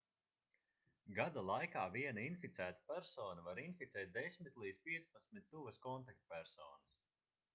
gada laikā viena inficēta persona var inficēt 10 līdz 15 tuvas kontaktpersonas